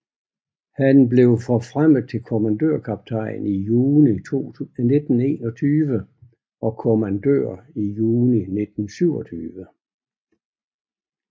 Han blev forfremmet til kommandørkaptajn i juni 1921 og kommandør i juni 1927